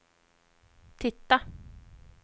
titta